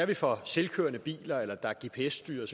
vi får selvkørende biler eller biler der er gps styret